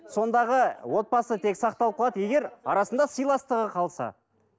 сондағы отбасы тек сақталып қалады егер арасында сыйластығы қалса